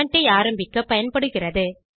comment ஐ ஆரம்பிக்க பயன்படுகிறது